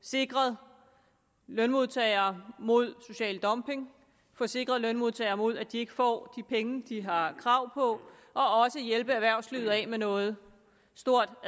sikret lønmodtagere mod social dumping at få sikret lønmodtagere mod at de ikke får de penge de har krav på og også at hjælpe erhvervslivet af med noget stort